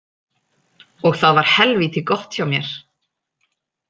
Og það var helvíti gott hjá mér.